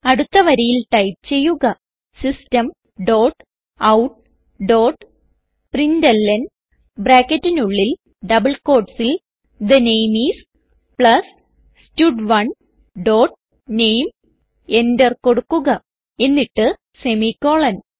അടുത്ത വരിയിൽ ടൈപ്പ് ചെയ്യുക system dot out dot println ബ്രാക്കറ്റിനുള്ളിൽ ഡബിൾ quotesൽ the name I S plus stud one dot name Enter കൊടുക്കുക എന്നിട്ട് സെമിക്കോളൻ